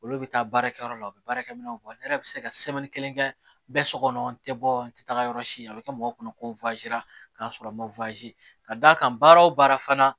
Olu bɛ taa baarakɛyɔrɔ la u bɛ baarakɛ minɛnw bɔ ne yɛrɛ bɛ se ka kelen kɛ bɛɛ sɔgɔ n tɛ bɔ n tɛ taga yɔrɔ si a bɛ kɛ mɔgɔw kɔnɔ ko k'a sɔrɔ n ma ka d'a kan baara o baara fana